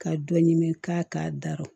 Ka dɔ ɲimi k'a k'a dara